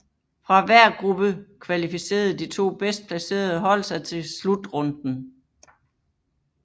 Fra hver gruppe kvalificerede de to bedst placerede hold sig til slutrunden